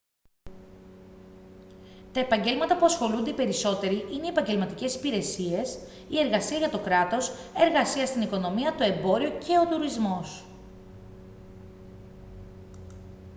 τα επαγγέλματα που ασχολούνται οι περισσότεροι είναι οι επαγγελματικές υπηρεσίες η εργασία για το κράτος εργασία στην οικονομία το εμπόριο και ο τουρισμός